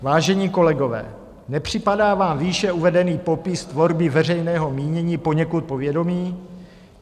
Vážení kolegové, nepřipadá vám výše uvedený popis tvorby veřejného mínění poněkud povědomý?